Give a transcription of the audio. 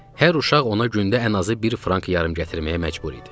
Hər uşaq ona gündə ən azı bir frank yarım gətirməyə məcbur idi.